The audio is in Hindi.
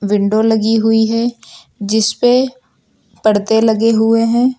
विंडो लगी हुई है जिसपे पर्दे लगे हुए हैं।